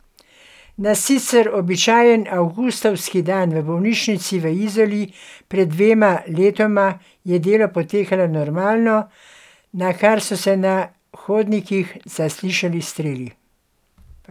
Na sicer običajen avgustovski dan v bolnišnici v Izoli pred dvema letoma je delo potekalo normalno, nakar so se na hodnikih zaslišali streli.